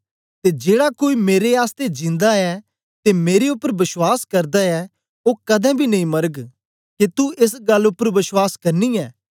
ते जेड़ा कोई मेरे आसतै जिंदा ऐ ते मेरे उपर बश्वास करदा ऐ ओ कदें बी नेई मरग के तू एस गल्ल उपर बश्वास करनी ऐं